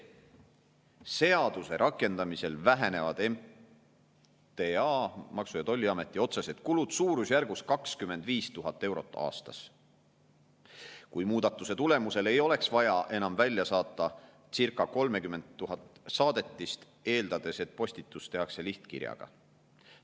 Seaduse rakendamisel vähenevad Maksu- ja Tolliameti otsesed kulud suurusjärgus 25 000 eurot aastas, kui muudatuse tulemusel ei oleks vaja enam välja saata circa 30 000 saadetist, eeldades, et postitus tehakse lihtkirjaga.